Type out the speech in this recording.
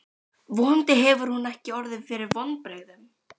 Vonandi hefur hún ekki orðið fyrir vonbrigðum.